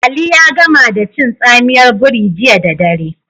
Ali ya gama da cin tsamiyar biri jiya da dare.